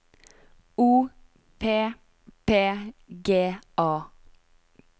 O P P G A